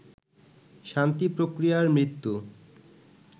শান্তি প্রক্রিয়ার মৃত্যু